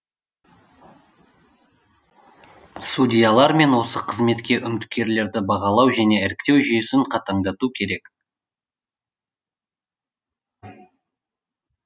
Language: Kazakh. судьялар мен осы қызметке үміткерлерді бағалау және іріктеу жүйесін қандат